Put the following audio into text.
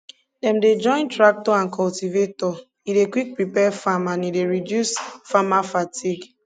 dem dey join tractor and cultivator e dey quick prepare farm and e dey reduce farmer fatigue